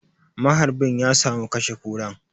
Maharbin ya samu ya kashe Kuran.